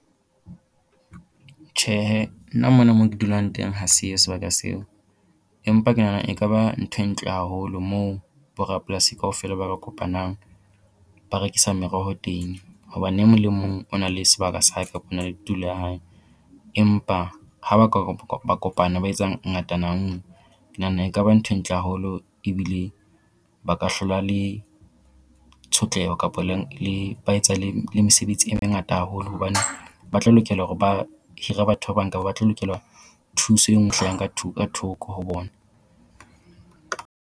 Tjhehe nna mona mo ke dulang teng ha se yo sebaka seo. Empa ke nahana ekaba ntho e ntle haholo moo bo rapolasi kaofela ba kopanang ba rekisa meroho teng. Hobane e mong le e mong o na le sebaka sa hae kapa ona le tulo ya hae. Empa ha ba ka ba kopana ba etsa ngatana ngwe ke nahana ekaba ntho e ntle haholo ebile ba ka hlola le tshotleho kapo leng le ba etsa le le mesebetsi e mengata haholo hobane ba tlo lokela hore ba hire batho ba bang ka ho ba tlo lokelwa thuso e ngwe e hlahang ka ka thoko ho bona.